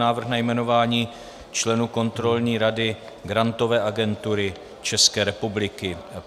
Návrh na jmenování členů Kontrolní rady Grantové agentury České republiky